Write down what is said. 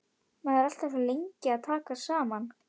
Maður er alltaf svo lengi að taka saman.